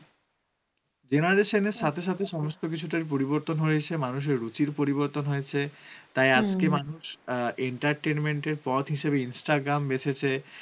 generation এর সথে সথে সমস্ত কিছু তার ই পরিবর্তন হয়েছে মানুষের রুচির পরিবর্তন হয়েছে তাই মানুষ entertainment এর পথ হিসেবে instagram বেছেছে